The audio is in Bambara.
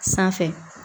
Sanfɛ